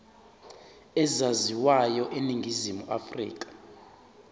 ezaziwayo eningizimu afrika